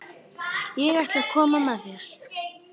Ég ætla að koma með þér!